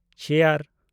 chair